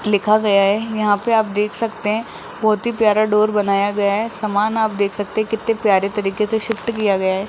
लिखा गया है यहां पे आप देख सकते हैं बहुत ही प्यारा डोर बनाया गया है सामान आप देख सकते हैं कितने प्यारे तरीके से शिफ्ट किया गया है।